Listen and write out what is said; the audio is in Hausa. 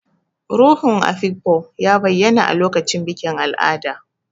Ruhun Afikpo ya bayyana a lokacin bikin al'ada.